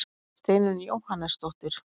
Steinunn Jóhannesdóttir.